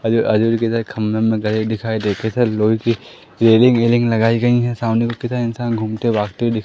आजू आजू बाजू इधर खंभे उम्भे गड़े दिखाई देखे थे लोहे की रेलिंग वेलिंग लगाई गई है सामने कितना इंसान घूमते भागते हुए दि--